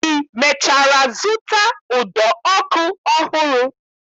I mechara zụta ụdọ ọkụ ọhụrụ?